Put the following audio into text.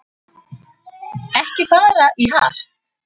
Ekki fara í hart